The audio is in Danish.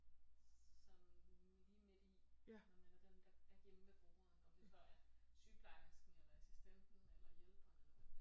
Sådan lige midt i når man er den der er er hjemme ved brugeren om det så er sygeplejersken eller assistenten eller hjælperne eller hvem det er